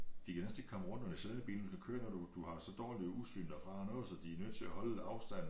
De kan næsten ikke komme rundt når de sidder i bilen du kører når du du har så dårlig udsyn derfra noget så de er nødt til at holde afstand